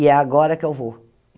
E é agora que eu vou.